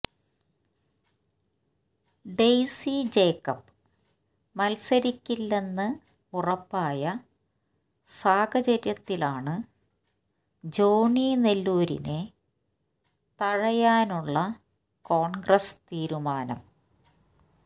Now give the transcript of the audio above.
Daisy Jacob മത്സരിക്കില്ലെന്ന് ഉറപ്പായ സാഹചര്യത്തിലാണ് ജോണി നെല്ലൂരിനെ തഴയാനുള്ള കോൺഗ്രസ് തീരുമാനം